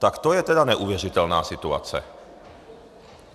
Tak to je teda neuvěřitelná situace.